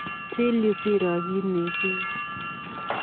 Chiil yuu siiro kiit neichengee.